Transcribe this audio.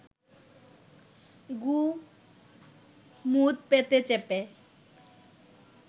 গু মুত পেটে চেপে